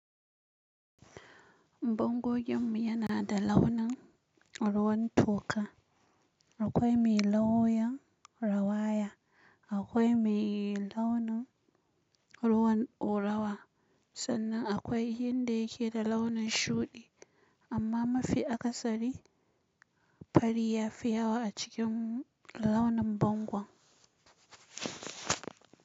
Bangogin mu yana da launin ruwan toka. Akwai mai launin rawaya, akwai mai launin ruwan dorawa, sannan akwai inda yake da launin shudi. Amma mafi akasari fari ya fi yawa a cikin launin bangon.